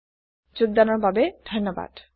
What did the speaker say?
দৰ্শন দিয়া বাবে ধণ্যবাদ